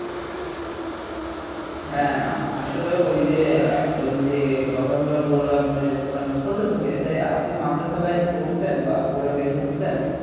হ্যাঁ আসলে ঐযে অ্যাঁ ঐযে কথাগুলা বললাম যে মানে ছোট চোখে যে আপনি মাদ্রাসা Line এ পড়ছেন বা পড়ে বের হচ্ছেন